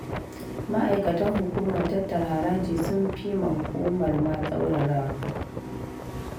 Ma'aikatan hukumar tattara haraji sun fi ma hukumar ma tsaurarawa